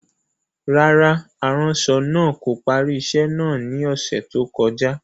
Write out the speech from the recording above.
Rárá, aranṣọ naa ko pari iṣẹ naa ni ọsẹ to koja.